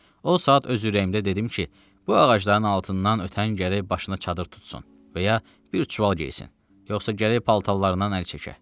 O saat öz ürəyimdə dedim ki, bu ağacların altından ötən gərək başına çadır tutsun və ya bir çuval geyinsin, yoxsa gərək paltarlarından əl çəkə.